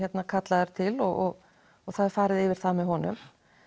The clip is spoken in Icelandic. kallaður til og það er farið yfir það með honum